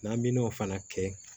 N'an bi n'o fana kɛ